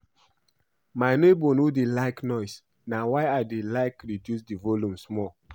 My neighbor no dey like noise na why I dey like reduce the volume small